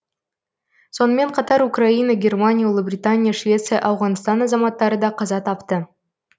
сонымен қатар украина германия ұлыбритания швеция ауғанстан азаматтары да қаза тапты